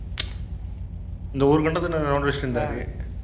இந்த ஒரு கண்டத்துல round அடிச்சிட்டிருந்தாரு